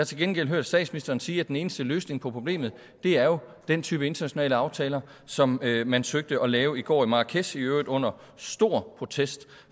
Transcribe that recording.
til gengæld hørt statsministeren sige at den eneste løsning på problemet er den type internationale aftaler som man søgte at lave i går i marrakech i øvrigt under stor protest